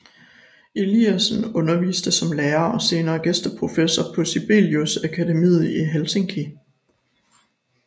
Eliasson underviste som lærer og senere gæsteprofessor på Sibelius Akademiet i Helsinki